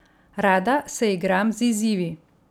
Rada se igram z izzivi.